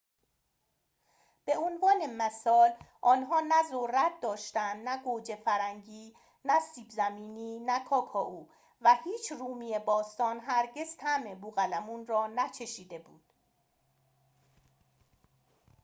به عنوان مثال آنها نه ذرت داشتند نه گوجه فرنگی نه سیب زمینی نه کاکائو و هیچ رومی باستان هرگز طعم بوقلمون را نچشیده بود